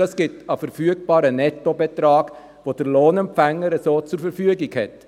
Dies ergibt einen verfügbaren Nettobetrag, welcher der Lohnempfänger so zur Verfügung hat.